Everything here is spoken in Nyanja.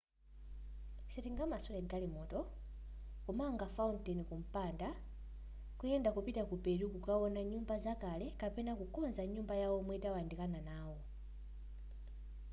sitingamasule galimoto kumanga fountain kumpanda kuyenda kupita ku peru kukaona nyumba zakale kapena kukonza nyumba ya omwe tawandikana nawo